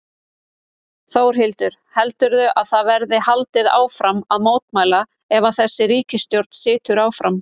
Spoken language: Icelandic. Þórhildur: Heldurðu að það verði haldið áfram að mótmæla ef að þessi ríkisstjórn situr áfram?